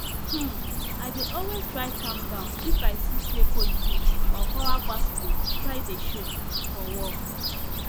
um i dey always try calm down if i see say politics or power gbas gbos try dey show for work